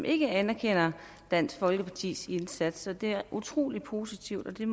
ikke anerkender dansk folkepartis indsats så det er utrolig positivt og det